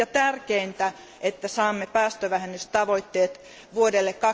Tärkeintä on, että saamme aikaan päästövähennystavoitteet vuodelle